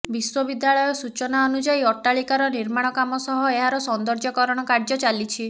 ବିଶ୍ବବିଦ୍ୟାଳୟ ସୂଚନା ଅନୁଯାୟୀ ଅଟ୍ଟାଳିକାର ନିର୍ମାଣ କାମ ସହ ଏହାର ସୌନ୍ଦର୍ଯ୍ୟକରଣ କାର୍ଯ୍ୟ ଚାଲିଛି